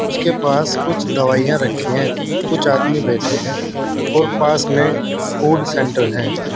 उसके पास कुछ दवाइयां रखी हैं कुछ आदमी बैठे हैं और पास में फूड सेंटर है।